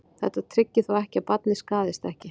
Þetta tryggir þó ekki að barnið skaðist ekki.